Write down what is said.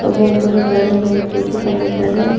ಒಬ್ಬ ಹುಡುಗ ಗಾಡಿ ಮೇಲೆ ಕುಳಿತುಕೊಂಡಿದ್ದಾರೆ.